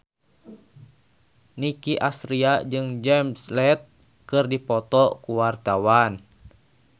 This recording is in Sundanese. Nicky Astria jeung Jared Leto keur dipoto ku wartawan